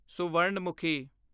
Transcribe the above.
Suvarnamukhi